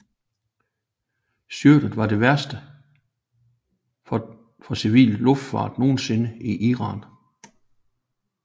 Styrtet var det værste for civil luftfart nogensinde i Iran